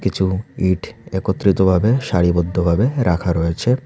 কিছু ইট একত্রিতভাবে সারিবদ্ধভাবে রাখা রয়েছে।